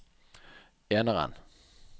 eneren